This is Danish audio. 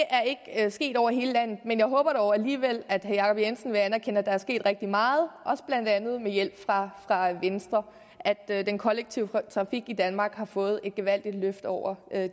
er ikke sket over hele landet men jeg håber dog alligevel at herre jacob jensen vil anerkende at der er sket rigtig meget blandt andet også med hjælp fra venstre og at den kollektive trafik i danmark har fået et gevaldigt løft over